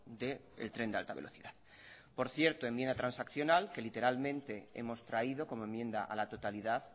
del tren de alta velocidad por cierto enmienda transaccional que literalmente hemos traído como enmienda a la totalidad